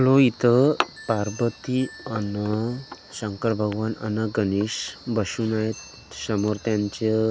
आपलो इथं पार्वती अन शंकर भगवान अन गणेश बसून आहे समोर त्यांचं --